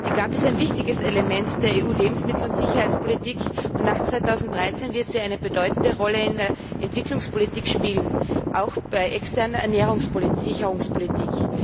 Die GAP ist ein wichtiges Element der EU Lebensmittel und Sicherheitspolitik, und nach 2013 wird sie eine bedeutende Rolle in der Entwicklungspolitik spielen, auch bei externer Ernährungssicherungspolitik.